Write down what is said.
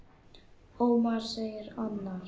Ómar, segir annar.